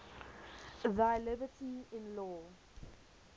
thy liberty in law